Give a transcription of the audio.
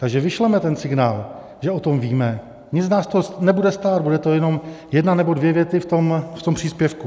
Takže vyšleme ten signál, že o tom víme, nic nás to nebude stát, bude to jenom jedna nebo dvě věty v tom příspěvku.